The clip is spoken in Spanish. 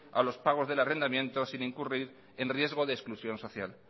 a los pagos del arrendamiento sin incurrir en riesgo de exclusión social